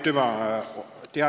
Aitüma!